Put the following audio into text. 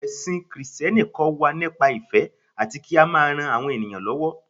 ẹsìn Kristẹni kọ wa nípa ìfẹ ati ki a ma ran àwọn ènìyàn lówó